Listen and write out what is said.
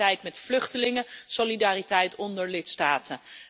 Solidariteit met vluchtelingen, solidariteit onder lidstaten.